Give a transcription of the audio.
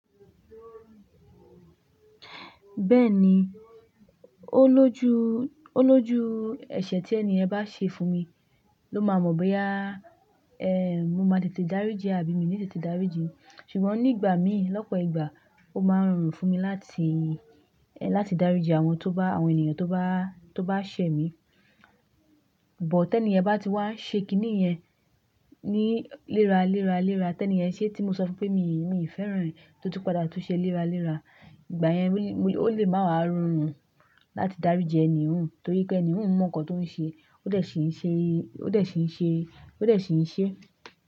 Bẹ́ẹ̀ni, ó lójú, ó lójú ẹ̀ṣẹ̀ tí ẹni ẹ bá ṣe fún mi, ló máa mọ̀ bóyá, eeh, mo máa lè tètè dáríji ẹ àbí mi nì tètè dáríji. Ṣùgbọ́n nígbà míì, lọ́pọ̀ ìgbà, ó máa ń rorùn fún mi láti dáríji àwọn tó bá, àwọn ènìyàn tó bá ṣẹ̀ mí. But tí ẹni yẹ bá ti wá ṣe kìnnì yẹn ní léra, léra, léra. Tẹ́ ẹni yẹn ṣé tí mo sọ fún pé mi fẹ́ràn ẹ tó tún padà tún ṣe léra, léra. Ìgbà yẹn ó lè máa wá rorùn láti dáríji ẹni hùn, torí pé ẹni hùn mọ̀ nǹkan tó ń ṣe, ó dẹ̀ ṣì ń ṣe, ó dẹ̀ ṣì ń ṣe, ó dẹ̀ ṣì ń ṣe.